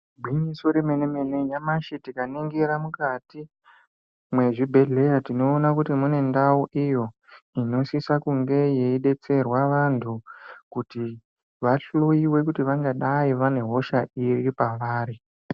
Igwinyiso remene-mene, nyamashi tikaningira mukati mwezvibhedhleya tinoona kuti mune ndau iyo, inosisa kunge yeidetserwa vantu kuti vahloiwe kuti vangadai vane hosha iri pavari.